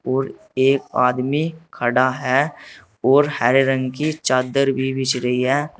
और एक आदमी खड़ा है और हरे रंग की चादर भी बिछ रही है।